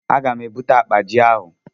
A ga m e bute akpa ji ahụ.